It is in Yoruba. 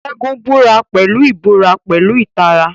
Segun búra pẹ̀lú ìbúra pẹ̀lú ìtara.